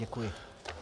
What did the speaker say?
Děkuji.